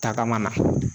Tagama na